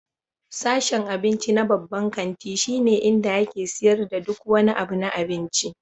Sashen abinci na babban kanti shine inda ake siyar da duk wani abu na abinci.